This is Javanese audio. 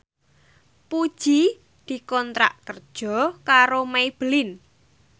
Puji dikontrak kerja karo Maybelline